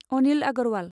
Anil Agarwal